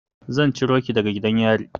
Zan ciro ki daga gidan yari.